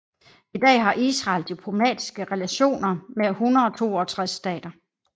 I dag har Israel diplomatiske relationer med 162 stater